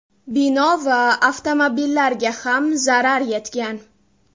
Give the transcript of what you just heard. Bino va avtomobillarga ham zarar yetgan.